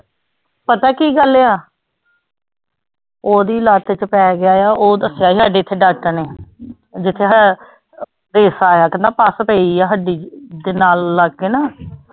ਪਤਾ ਕੀ ਗੱਲ ਆ ਉਹਦੀ ਲੱਤ ਚ ਪੈ ਗਿਆ ਆ ਉਹ ਦੱਸਿਆ ਸੀ ਸਾਡੇ ਇੱਥੇ doctor ਨੇ ਜਿੱਥੇ ਦਿਖਾਆ ਹੈ ਉਹ ਕਹਿੰਦਾ ਪੱਸ ਪਈ ਆ ਹੱਡੀ ਦੇ ਨਾਲ ਲੱਗ ਕੇ ਨਾ